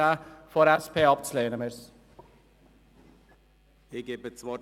Ich bitte Sie daher, den Antrag der SP abzulehnen.